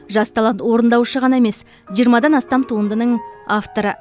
жас талант орындаушы ғана емес жиырмадан астам туындының авторы